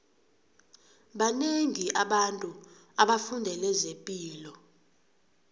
banengi abantu abafundele zepilo